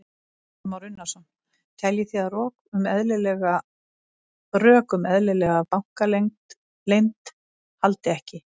Kristján Már Unnarsson: Teljið þið að rok um eðlilega bankaleynd haldi ekki?